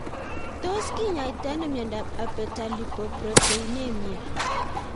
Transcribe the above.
Tios kinyaitoi ano miondop Abetalipoproteinemia